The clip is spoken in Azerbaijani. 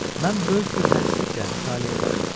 Mən böyük bir hərisliklə mütaliəyə başladım.